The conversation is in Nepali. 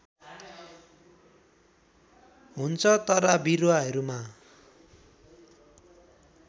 हुन्छ तर बिरुवाहरूमा